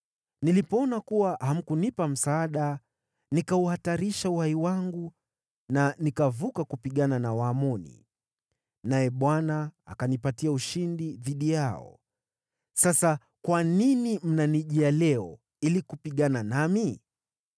Nilipoona kuwa hamkunipa msaada nikauhatarisha uhai wangu na nikavuka kupigana na Waamoni. Naye Bwana akanipatia ushindi dhidi yao. Sasa kwa nini mnanijia leo ili kupigana nami?”